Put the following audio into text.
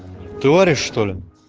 ты варишь что ли